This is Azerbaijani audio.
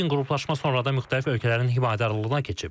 Lakin qruplaşma sonradan müxtəlif ölkələrin himayədarlığına keçib.